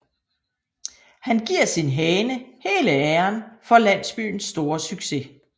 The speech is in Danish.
Han giver sin hane hele æren for landsbyens store succes